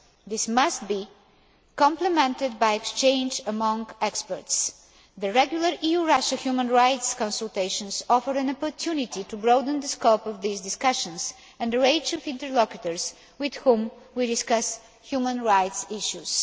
This must be complemented by exchanges among experts. The regular EU Russia human rights consultations offer an opportunity to broaden the scope of these discussions and the range of interlocutors with whom we discuss human rights issues.